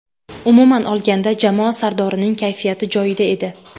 Umuman olganda, jamoa sardorining kayfiyati joyida edi.